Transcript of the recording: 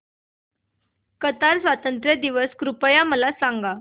Qatar स्वातंत्र्य दिवस कृपया मला सांगा